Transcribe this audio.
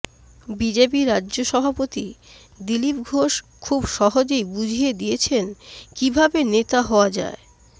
BJP রাজ্য সভাপতি দিলীপ ঘোষ খুব সহজেই বুঝিয়ে দিয়েছেন কীভাবে নেতা হওয়া যায়